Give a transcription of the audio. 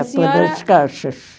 A senhora... Caixas.